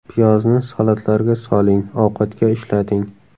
Piyozni salatlarga soling, ovqatga ishlating.